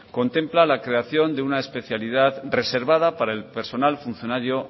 contempla la creación de una especialidad reservada para el personal funcionario